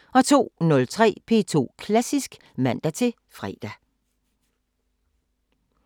02:03: P2 Klassisk (man-fre)